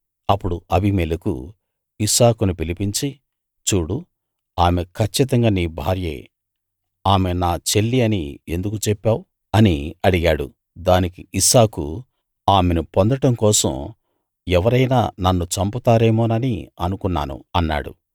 అప్పుడు అబీమెలెకు ఇస్సాకును పిలిపించి చూడు ఆమె కచ్చితంగా నీ భార్యే ఆమె నా చెల్లి అని ఎందుకు చెప్పావు అని అడిగాడు దానికి ఇస్సాకు ఆమెను పొందటం కోసం ఎవరైనా నన్ను చంపుతారేమోనని అనుకున్నాను అన్నాడు